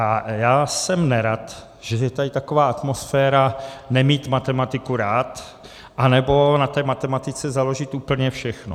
A já jsem nerad, že je tady taková atmosféra nemít matematiku rád, anebo na té matematice založit úplně všechno.